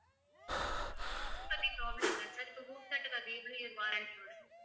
amount பத்தி problem இல்ல sir இப்ப home theater அது எவ்வளவு year warranty யோட